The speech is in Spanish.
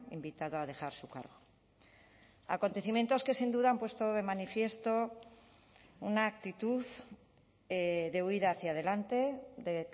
invitado a dejar su cargo acontecimientos que sin duda han puesto de manifiesto una actitud de huida hacia adelante de